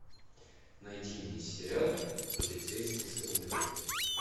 найди мне сериал полицейский с рублевки